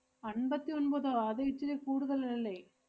അമ്പത്തി ഒമ്പതോ അത് ഇച്ചിരി കൂടുതല് അല്ലേ?